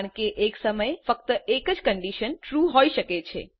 કારણ કે એક સમયે ફક્ત એક જ કન્ડીશન ટ્રૂ હોઈ શકે